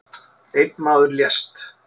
Einn maður lést